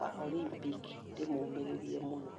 wa Olympic , ndĩmũmĩrĩrie mũno.